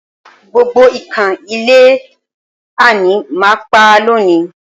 Gbogbo ikan ilé w ani màá pa lónìí